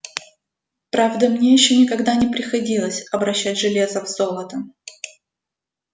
правда мне ещё никогда не приходилось обращать железо в золото